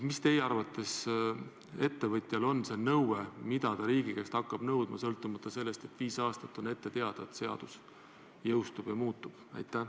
Mida teie arvates ettevõtja riigi käest hakkab nõudma, kui viis aastat on olnud ette teada, et see seadus jõustub?